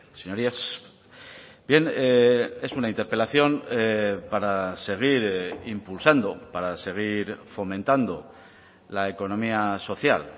señorías bien es una interpelación para seguir impulsando para seguir fomentando la economía social